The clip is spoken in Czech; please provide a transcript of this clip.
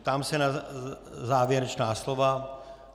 Ptám se na závěrečná slova.